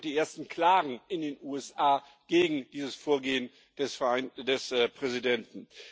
Es gibt ja auch die ersten Klagen in den USA gegen dieses Vorgehen des Präsidenten.